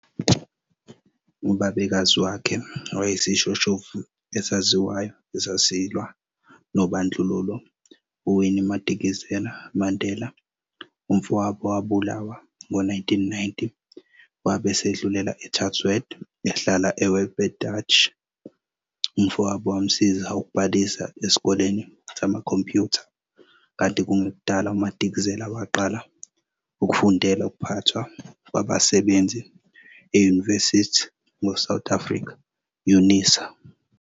Ubabekazi wakhe wayeyisishoshovu esaziwayo esasilwa nobandlululo uWinnie Madikizela Mandela. Umfowabo wabulawa ngo-1990 wabe esedlulela eChatsworth, ehlala eWelbedacht. Umfowabo wamsiza ukubhalisa esikoleni samakhompiyutha kanti kungekudala uMadikizela waqala ukufundela ukuphathwa kwabasebenzi e-University of South Africa, UNISA.